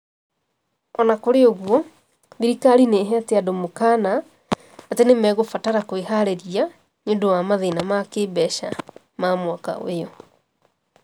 O na kũrĩ ũguo, thirikari nĩ ĩheete andũ mũkaana atĩ nĩ mekũbatara kwĩharĩria nĩ ũndũ wa mathĩna ma kĩĩmbeca ma mwaka ũyũ.